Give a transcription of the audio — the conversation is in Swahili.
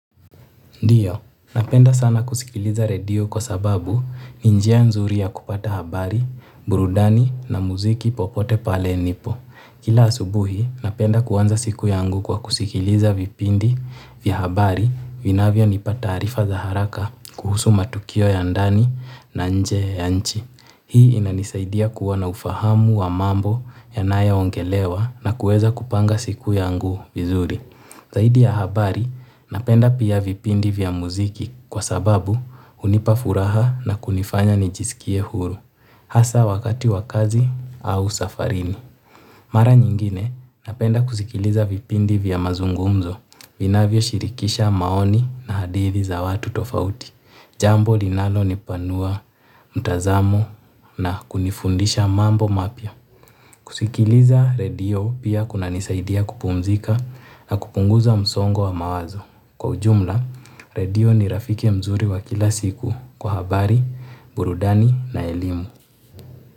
Ndio, napenda sana kusikiliza redio kwa sababu ni njia nzuri ya kupata habari, burudani na muziki popote pale nipo. Kila asubuhi napenda kuanza siku yangu kwa kusiliza vipindi vya habari vinavyo nipa taarifa za haraka kuhusu matukio ya ndani na nje ya nchi. Hii inanisaidia kuwa na ufahamu wa mambo yanayo ongelewa na kuweza kupanga siku yangu vizuri. Zaidi ya habari, napenda pia vipindi vya muziki kwa sababu hunipa furaha na kunifanya nijisikie huru, hasa wakati wa kazi au safarini. Mara nyingine napenda kusikiliza vipindi vya mazungumzo vinavyishilikisha maoni na hadithi za watu tofauti. Jambo linalo nipanua mtazamo na kunifundisha mambo mapya. Kusikiliza redio pia kuna nisaidia kupumzika na kupunguza msongo wa mawazo. Kwa ujumla, redio ni rafiki mzuri wa kila siku kwa habari, burudani na elimu.